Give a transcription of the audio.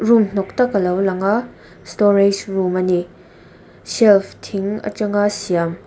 room hnawk tak alo lang a storage room ani shelves thing atanga siam--